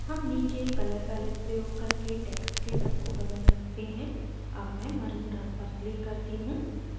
हम नीचे color palette प्रयोग करके text के रंग को बदल सकते हैं अब मैं maroon रंग पर click करती हूँ